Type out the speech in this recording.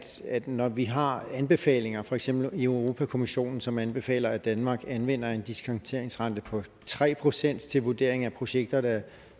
når vi har anbefalinger for eksempel i europa kommissionen som anbefaler at danmark anvender en diskonteringsrente på tre procent til vurdering af projekter der